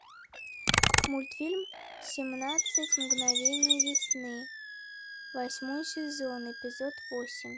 мультфильм семнадцать мгновений весны восьмой сезон эпизод восемь